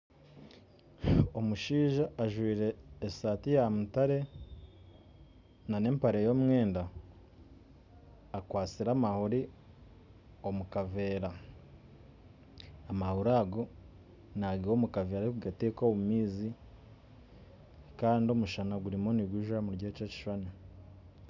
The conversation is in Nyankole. Omushaija ajwire esaati ya mutaare n'empare y'omwenda akwatsire amahuuri omu kaveera, amahuuri ago nagiiha omu kaveera arikugata omu maizi kandi omushaana gurimu nigujwa omuri eki ekishuushani